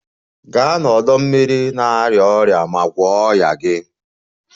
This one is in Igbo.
Gaa n'ọdọ mmiri na-arịa ọrịa ma gwọọ ọnya gị!